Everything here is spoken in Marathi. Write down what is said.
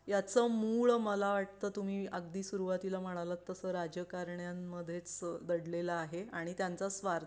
याचं मूळ मला वाटतं तुम्ही अगदी सुरुवातीला म्हणालास तसं राजकारण्यामध्ये दडलेलं आहे आणि त्यांचा स्वार्थ